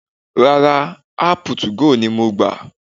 Rárá, áàpù 2go ni mo gbà